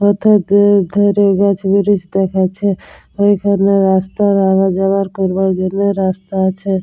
হেথাত দুই ধারে গাছ দেখাচ্ছে। ঐখানে রাস্তার আওয়া যাওয়ার করবার জন্যে রাস্তা আছে।